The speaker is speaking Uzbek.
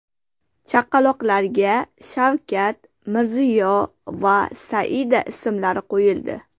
Chaqaloqlarga Shavkat, Mirziyo va Saida ismlari qo‘yildi.